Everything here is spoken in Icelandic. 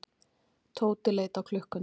Tóti leit á klukkuna.